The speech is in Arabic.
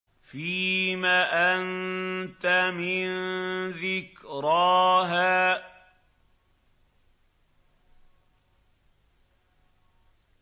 فِيمَ أَنتَ مِن ذِكْرَاهَا